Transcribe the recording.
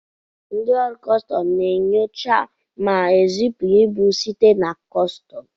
Ndị ọrụ kọstọm na enyocha ma ezipụ ibu site na kọsọm.